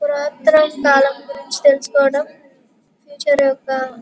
పురాతన కాలం గురించి తెలుసుకోవడం ఫ్యూచర్ యొక్క --